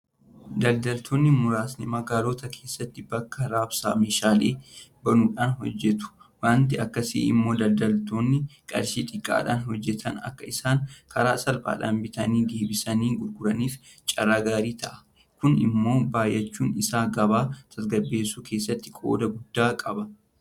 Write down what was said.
Daldaltoonni muraasni magaalota keessatti bakka raabsaa meeshaalee banuudhaan hojjetu. Waanti akkasii immoo daldaltoonni qarshii xiqqaadhaan hojjetan akka isaan karaa salphaadhaan bitanii deebisanii gurguraniif carraa gaarii ta'a. Kun immoo baay'achuun isaa gabaa tasgabbeessuu keessatti qooda guddaa qaba.